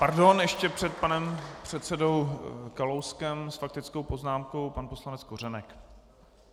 Pardon, ještě před panem předsedou Kalouskem s faktickou poznámkou pan poslanec Kořenek.